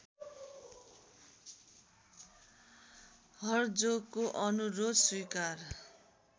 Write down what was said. हर्जोगको अनुरोध स्वीकार